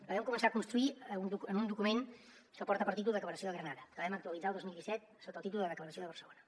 la vam començar a construir en un document que porta per títol declaració de granada que vam actualitzar el dos mil disset sota el títol de declaració de barcelona